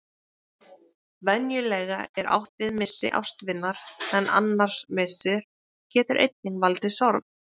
Venjulega er átt við missi ástvinar en annar missir getur einnig valdið sorg.